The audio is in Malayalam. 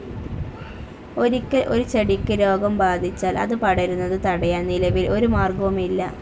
ഒരിക്കൽ ഒരു ചെടിയ്ക്ക് രോഗം ബാധിച്ചാൽ അത് പടരുന്നത് തടയാൻ നിലവിൽ ഒരു മാർഗവുമില്ല.